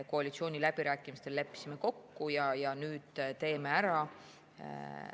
Koalitsiooniläbirääkimistel leppisime selles kokku ja nüüd teeme ära.